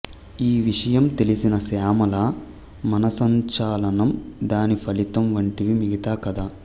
ఈ విషయం తెలిసిన శ్యామల మనస్సంచలనం దాని ఫలితం వంటివి మిగతా కథ